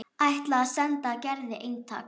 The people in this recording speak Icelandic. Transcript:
Ætlar að senda Gerði eintak.